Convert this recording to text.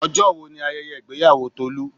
Ọjọ́ wo ni ayẹyẹ ìgbéyàwó Tolu?